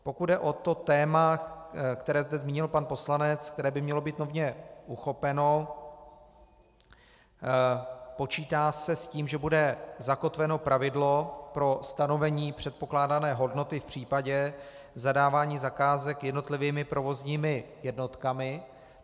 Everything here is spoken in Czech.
Pokud jde o to téma, které zde zmínil pan poslanec, které by mělo být nově uchopeno, počítá se s tím, že bude zakotveno pravidlo pro stanovení předpokládané hodnoty v případě zadávání zakázek jednotlivými provozními jednotkami.